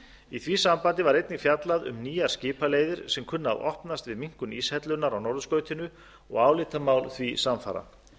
í því sambandi var einnig fjallað um nýjar skipaleiðir sem kunna að opnast við minnkun íshellunnar á norðurskautinu og álitamál því samfara